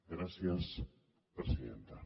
gràcies presidenta